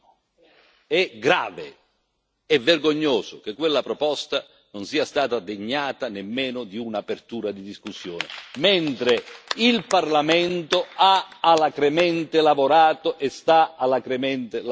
È grave e vergognoso che quella proposta non sia stata degnata nemmeno di un'apertura di discussione, mentre il Parlamento ha alacremente lavorato e sta alacremente lavorando.